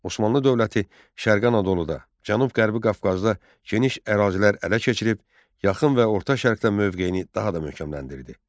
Osmanlı dövləti Şərqi Anadoluda, Cənub-Qərbi Qafqazda geniş ərazilər ələ keçirib, yaxın və orta şərqdə mövqeyini daha da möhkəmləndirdi.